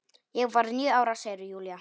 Ég var níu ára, segir Júlía.